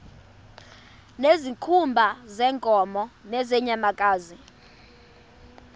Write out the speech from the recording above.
ngezikhumba zeenkomo nezeenyamakazi